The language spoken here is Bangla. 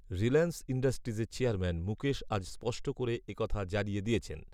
রিলায়েন্স ইণ্ডাস্ট্রিজের চেয়ারম্যান মুকেশ আজ স্পষ্ট করে এ কথা জানিয়ে দিয়েছেন